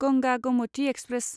Ganga Gomti express